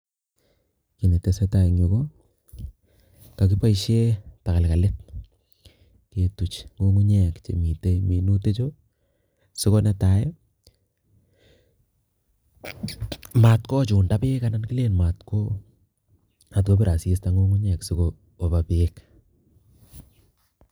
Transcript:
Kiy ne tesetai en yu ko kagiboisie tagalgalit ketuch ng'ung'unyek chemite minutichu, sigo netai mat kochunda beek anan kilen mat ko mat kobir asista ng'ung'unyek sigoba beek.